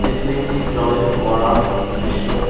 এটি একটি জলের ফোয়ারার দৃশ্য।